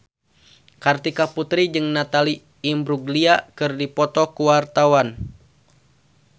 Kartika Putri jeung Natalie Imbruglia keur dipoto ku wartawan